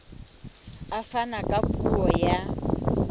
a fana ka puo ya